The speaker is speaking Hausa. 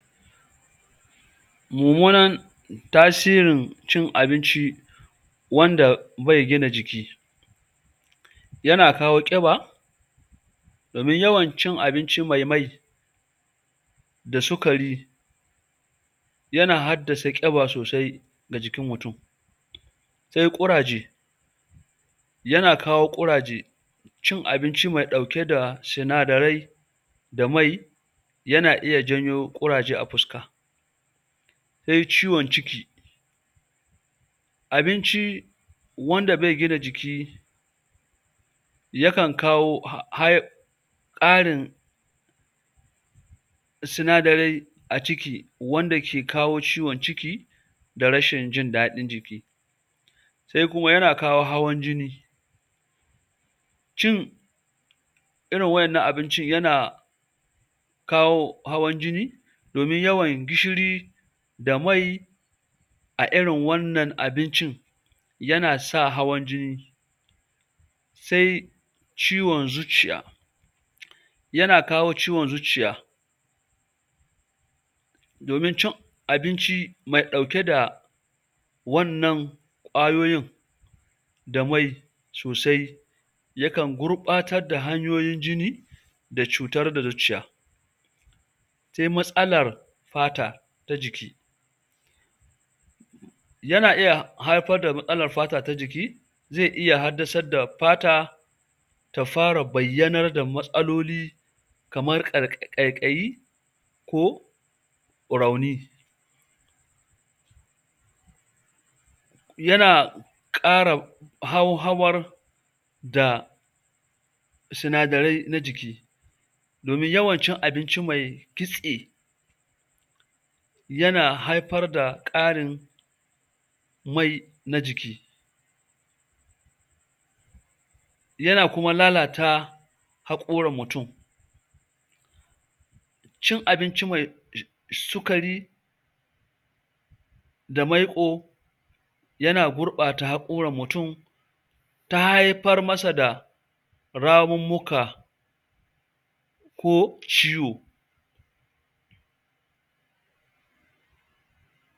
mummunan tasirin cin abinci wanda bai gina jiki yana kawo ƙiba domin yawan cin abinci mai mai da sukari yana haddasa ƙiba sosai ga jikin mutum se ƙuraje yana kawo ƙuraje cin abinci mai dauke da sinadarai da mai yan janyo ƙuraje ga fuska sai ciwon ciki abinci wanda bai gina jiki yaƙan kawo high karin sinadarai a ciki wanda ke kawo ciwon ciki da rashin jin dadin jiki sai kuma yana kawo hawan jini cin waɗannan abinci yana kawo hawan jini domin yawan gishiri da mai a irin wannan abincin yana sa hawan jini sai ciwon zuciya yana kawo ciwon zuciya domin cin abinci mai ɗauke da wannan ƙwayoyin da mai sosai yakan gurɓatar da hanyoyin jini da cutar da zuciya sai matsalar fata ta jiki yana iya haifar da matsalar fata ta jiki zai iya hassadar da fata ta fara bayyanar da matsaloli kamar ƙaiƙayi ko rauni yana kara hauhawar da sinadarai na jiki, domin yawan cin abinci me kitse yana haifar da karin mai na jiki yana kuma lalata haƙoran mutum cin abinci me sukari da maiko yana gurɓata hakoran mutum ta haifar masa ramummuka ko ciwo